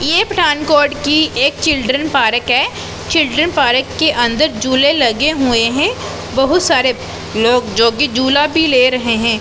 ये पठानकोट की एक चिल्ड्रेन पार्क है चिल्ड्रेन पार्क के अंदर झूले लगे हुए हैं बहोत सारे लोग जो की झूला भी ले रहे हैं।